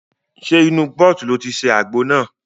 Ṣe inú pọ́ọ̀tì ni o ti ṣe àgbo náà?